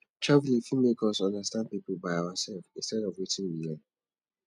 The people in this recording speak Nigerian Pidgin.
travelling fit make us understand pipo by ourself instead of wetin we hear